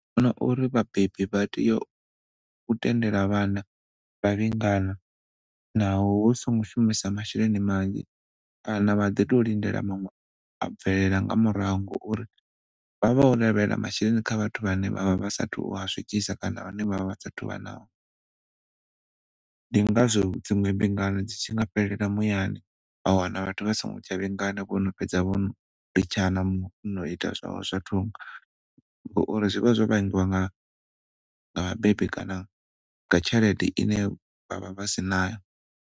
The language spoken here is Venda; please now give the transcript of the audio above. Na uri vhabebi vha tea u tendela vhana vha vhingana naho hu songo shumisa masheleni manzhi kana vha ḓi tou lindela maṅwe a bvelela nga murahu ngauri vha vho lavhela masheleni kha vhathu vhane vhavha vha sathu u a swikisa kana vhane vhavha vha sathu vha nao. Ndi ngazwo dziṅwe mbingano dzi tshi nga fhelela muyani vha wana vhathu vha si ngo tsha vhingana, vhono fhedza vho no litshana muṅwe ono ita zwawe zwa thungo ngauri zwi vha zwo vhangiwa nga vhabebi kana nga tshelede ine vhavha vha si nayo.